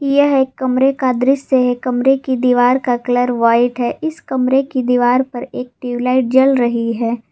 यह एक कमरे का दृश्य कमरे की दीवार का कलर व्हाइट है इस कमरे की दीवार पर एक ट्यूब लाइट जल रही है।